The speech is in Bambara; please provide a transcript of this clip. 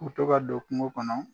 K'u bɛ to ka don kungo kɔnɔ.